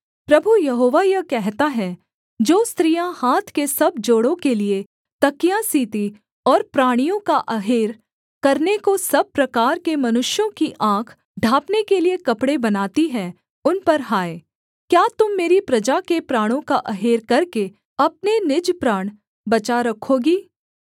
प्रभु Jehovah यह कहता है जो स्त्रियाँ हाथ के सब जोड़ो के लिये तकिया सीतीं और प्राणियों का अहेर करने को सब प्रकार के मनुष्यों की आँख ढाँपने के लिये कपड़े बनाती हैं उन पर हाय क्या तुम मेरी प्रजा के प्राणों का अहेर करके अपने निज प्राण बचा रखोगी